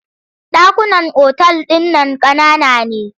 Ɗakunan otal ɗin nan ƙanana ne.